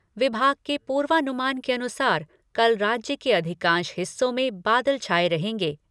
विभाग के पूर्वानुमान के अनुसार कल राज्य के अधिकांश हिस्सों में बादल छाए रहेंगे।